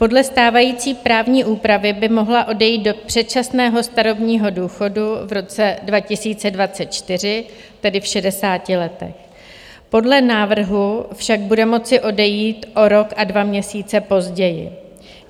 Podle stávající právní úpravy by mohla odejít do předčasného starobního důchodu v roce 2024, tedy v 60 letech, podle návrhu však bude moci odejít o rok a 2 měsíce později.